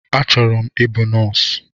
Achọrọ m ịbụ nọọsụ